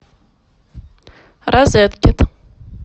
розеткед